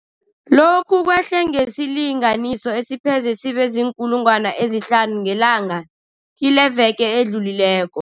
Lokhu kwehle ngesilinganiso esipheze sibe ziinkulungwana ezihlanu ngelanga kileveke edlulileko.